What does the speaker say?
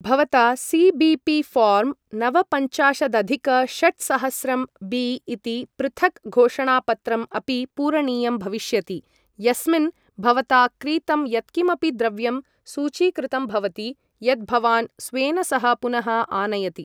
भवता CBP form नवपञ्चाशदधिक षट्सहस्रंबी इति पृथक् घोषणापत्रं अपि पूरणीयं भविष्यति, यस्मिन् भवता क्रीतं यत्किमपि द्रव्यं सूचीकृतं भवति यत् भवान् स्वेन सह पुनः आनयति।